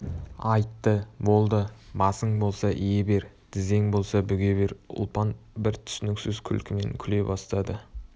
айтты болды басың болса ие бер тізең болса бүге бер ұлпан бір түсініксіз күлкімен күле бастады